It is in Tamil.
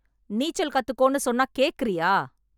நீச்சல் கத்துக்கோன்னு சொன்னா கேக்குறியா